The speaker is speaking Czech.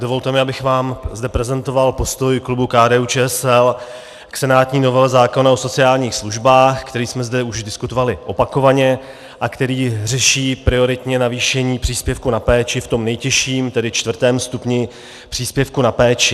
Dovolte mi, abych vám zde prezentoval postoj klubu KDU-ČSL k senátní novele zákona o sociálních službách, který jsme zde už diskutovali opakovaně a který řeší prioritně zvýšení příspěvku na péči v tom nejtěžším, tedy čtvrtém stupni příspěvku na péči.